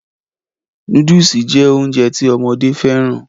Nóódùsì jẹ́ Ounjẹ ti ọmọdé fẹ́ràn